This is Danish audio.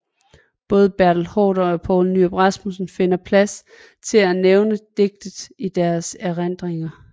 Både Bertel Haarder og Poul Nyrup Rasmussen finder plads til at nævne digtet i deres erindringer